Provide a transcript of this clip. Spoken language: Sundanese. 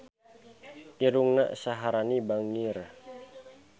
Irungna Syaharani bangir